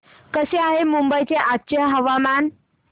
कसे आहे मुंबई चे आजचे हवामान